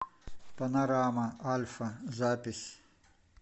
панорама альфа запись